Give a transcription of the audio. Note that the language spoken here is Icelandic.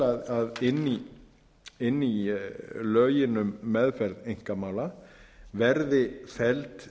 til að inn í lögin um meðferð einkamála verði felld